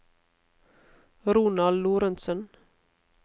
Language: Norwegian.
Ronald Lorentsen